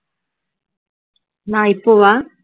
நான் இப்பவா